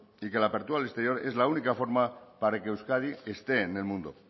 y que la apertura al exterior es la única forma para que euskadi esté en el mundo